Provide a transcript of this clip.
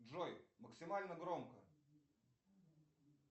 джой максимально громко